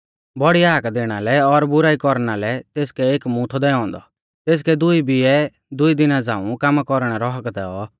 बौड़ी हाक दैणा लै और बुराई कौरना लै तेसकै एक मूंह थौ दैऔ औन्दौ तेसकै दुई बिऐ दुई दिना झ़ांऊ कामा कौरणै रौ हक्क दैऔ